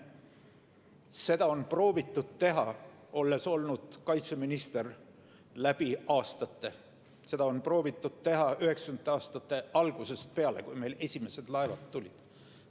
Seda on proovitud teha – olen olnud kaitseminister läbi aastate –, seda on proovitud teha üheksakümnendate aastate algusest peale, kui meile esimesed laevad tulid.